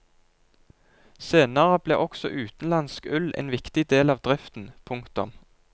Senere ble også utenlandsk ull en viktig del av driften. punktum